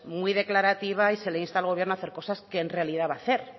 muy declarativa y se le insta al gobierno a hacer cosas que en realidad va a hacer